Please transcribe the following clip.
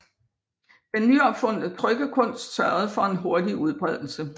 Den nyopfundne trykkekunst sørgede for en hurtig udbredelse